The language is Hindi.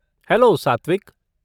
हैलो, सात्विक!